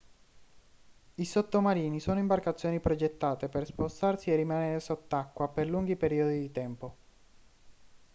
i sottomarini sono imbarcazioni progettate per spostarsi e rimanere sott'acqua per lunghi periodi di tempo